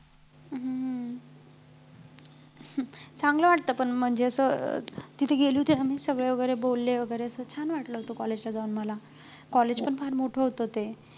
हम्म चांगलं वाटलं पण म्हणजे असं अं तिथे गेले होते ना मी सगळे वगैरे बोलले वगैर. छान वाटलं होतं college ला जाऊन मला college पण फार मोठं होतं ते